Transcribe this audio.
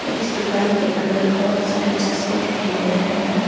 इस दुकान के अंदर बहुत सारे चश्मे दिखाई दे रहे हैं।